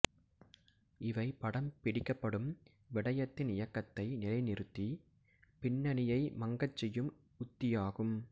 இவை படம் பிடிக்கப்படும் விடயத்தின் இயக்கத்தை நிலை நிறுத்தி பின்னணியை மங்கச் செய்யும் உத்தியாகும்